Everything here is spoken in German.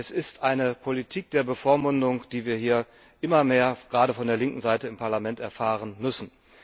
Es ist eine Politik der Bevormundung, die wir hier immer mehr, gerade von der linken Seite, im Parlament erfahren müssen.